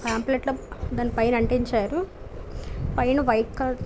pamphlet లో దాని పైన అంటించారు పైన వైట్ కలర్ --